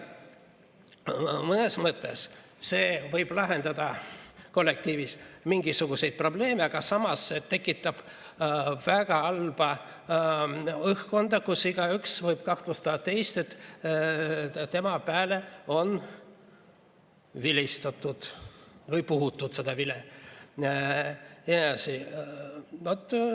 Mõnes mõttes see võib lahendada kollektiivis mingisuguseid probleeme, aga samas tekitab väga halba õhkkonda, kus igaüks võib kahtlustada teist, et tema peale on vilistatud või puhutud vilet.